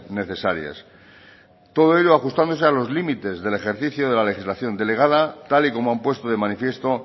necesarias todo ello ajustándose a los límites del ejercicio de la legislación delegada tal y como han puesto de manifiesto